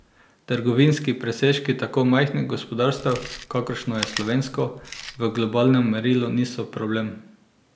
Trgovinski presežki tako majhnih gospodarstev, kakršno je slovensko, v globalnem merilu niso problem.